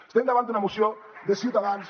estem davant d’una moció de ciutadans